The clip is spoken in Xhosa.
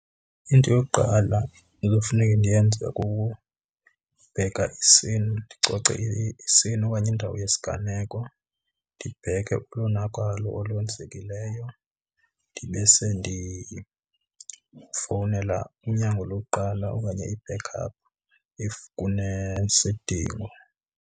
Into yokuqala ekufuneka ndiyenze kukubheka i-scene, ndicoce i-scene okanye indawo yesiganeko. Ndibheke ulonakalo olwenzekileyo ndibe sendifowunela unyango lokuqala okanye i-backup if kunesidingo.